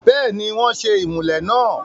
bẹ́ẹ̀ni, wọ́n ṣe ìmùlẹ̀ náà